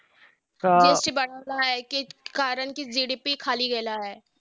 कि कारण कि GDP खाली गेला आहे.